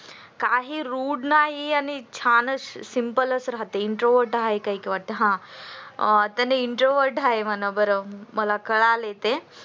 काही rude नाही आणि छानच simple च राहते ती introvert आहे म्हणा मला कळलय ते